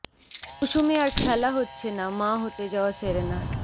মৌসুমে আর খেলা হচ্ছে না মা হতে যাওয়া সেরেনার